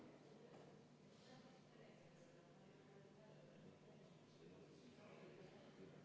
Aitäh, austatud esimees!